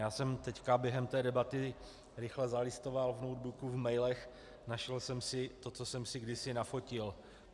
Já jsem teď během té debaty rychle zalistoval v notebooku, v mailech, našel jsem si to, co jsem si kdysi nafotil.